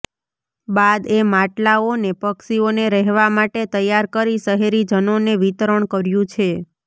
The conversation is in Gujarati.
બાદ એ માટલાઓને પક્ષીઓને રહેવા માટે તૈયાર કરી શહેરીજનોને વિતરણ કર્યું છે